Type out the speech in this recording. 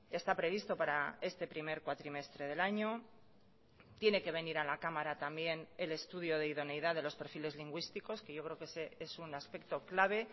está previsto para este primer cuatrimestre del año tiene que venir a la cámara también el estudio de idoneidad de los perfiles lingüísticos que yo creo que ese es una aspecto clave